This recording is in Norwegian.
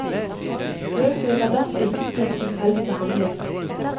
Bøkene blir derfor ikke utsatt for tilfeldig behandling.